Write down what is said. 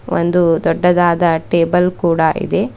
ಒಂದು ದೊಡ್ಡದಾದ ಟೇಬಲ್ ಕೂಡ ಇದೆ.